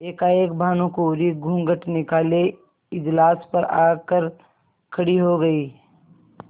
एकाएक भानुकुँवरि घूँघट निकाले इजलास पर आ कर खड़ी हो गयी